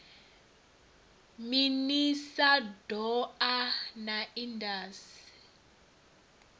minis a doa na indas